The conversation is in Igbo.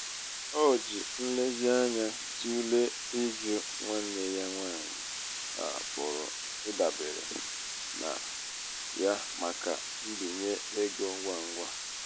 o ji nlezianya tụlee ịjụ nwanne ya nwanyị a pụrụ ịdabere na ya maka mbinye ego ngwa ngwa.